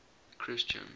christian